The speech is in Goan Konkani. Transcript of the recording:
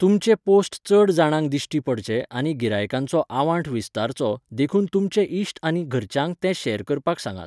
तुमचे पोस्ट चड जाणांक दिश्टी पडचे आनी गिरायकांचो आवांठ विस्तारचो देखून तुमचे इश्ट आनी घरच्यांक ते शॅर करपाक सांगात.